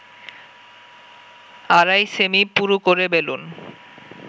আড়াই সেমি পুরু করে বেলুন